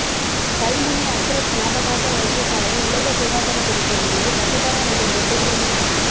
கல்முனை அஸ்றப் ஞாபகார்த்த வைத்தியசாவைலயில் உலக சுகாதார தினத்தை முன்னிட்டு இரத்ததான நிகழ்வொன்று இடம்பெற்றது